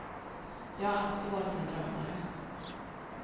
Jag har alltid varit en drömmare.